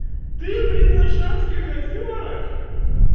ты блин на шацких озёрах